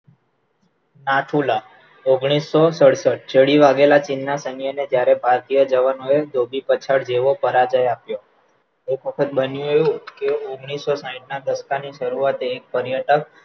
નાથુલા ઓગણીસો સડસઠ ચડી વાઘેલા ચીનના જ્યારે ભારતીય જવાનોએ ધોબી પછાડ જેવો પરાજય આપ્યો એક વખત બન્યું કે ઓગણીસો સાઈઠ ના દક્ષાની શરૂઆત એક પર્યટક